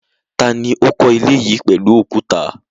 Ta ni ó kọ́ ilé yìí pẹ̀lú òkúta?